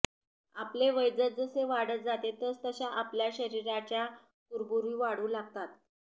आपले वय जसजसे वाढत जाते तसतशा आपल्या शरीराच्या कुरबुरी वाढू लागतात